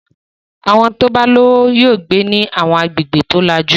Àwọn tó bá lówó yóò gbé ní àwọn agbègbè tó lajú.